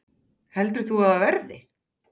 Heldur þú að það verði?